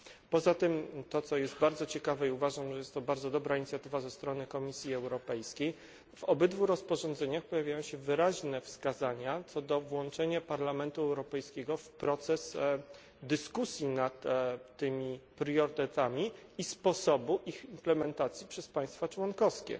Poza tym to, co jest bardzo ciekawe i uważam, że jest to bardzo dobra inicjatywa ze strony Komisji Europejskiej w obydwu rozporządzeniach pojawiają się wyraźne wskazania co do włączenia Parlamentu Europejskiego w proces dyskusji nad tymi priorytetami i sposobu ich implementacji przez państwa członkowskie.